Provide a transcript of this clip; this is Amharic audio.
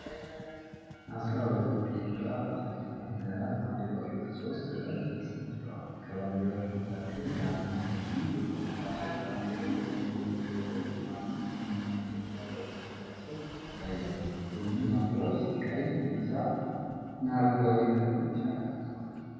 አስራ ሁለት የምዕራብ አፍሪካ ሀገራት ባንዲራዎች በሦስት ረድፍ ተሰድረዋል። ከባንዲራዎቹ መካከል ጋና፣ ቤኒን፣ ቡርኪና ፋሶ፣ ካሜሩን፣ ኮንጎ፣ ቶጎ፣ ማሊ እና ኢትዮጵያ በስም ተጠቅሰው ይታያሉ። ሁሉም ባንዲራዎች ቀይ፣ ቢጫና አረንጓዴ ቀለሞችን አካተዋል።